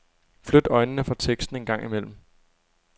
Flyt øjnene fra teksten en gang imellem.